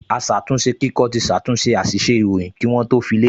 Aṣàtúnṣekíkọ ti ṣàtúnṣe àṣìṣe ìròyìn kí wọ́n tó fi léde